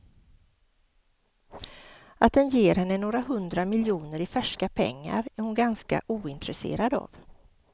Att den ger henne några hundra miljoner i färska pengar är hon ganska ointresserad av.